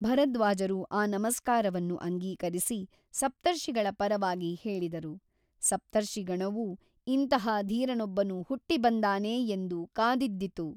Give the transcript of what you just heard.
ಭರದ್ವಾಜರು ಆ ನಮಸ್ಕಾರವನ್ನು ಅಂಗೀಕರಿಸಿ ಸಪ್ತಿರ್ಷಿಗಳ ಪರವಾಗಿ ಹೇಳಿದರು ಸಪ್ತರ್ಷಿಗಣವೂ ಇಂತಹ ಧೀರನೊಬ್ಬನು ಹುಟ್ಟಿಬಂದಾನೇ ಎಂದು ಕಾದಿದ್ದಿತು.